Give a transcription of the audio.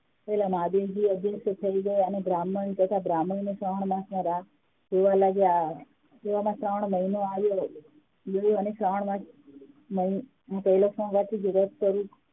પેલા મહાદેવજી અદ્રશ્ય થઇ ગયા અને બ્રાહ્મણ અને બ્રાહ્મણી શ્રાવણ માસ ની રાહ જોવા લાગ્યા એવામાં શ્રાવણ મહિનો આવ્યો અને શ્રાવણ માસમાં